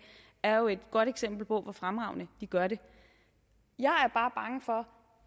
er jo et godt eksempel på hvor fremragende de gør det jeg